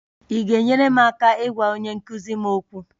Ị ga-enyere m aka ịgwa onye nkụzi m okwu?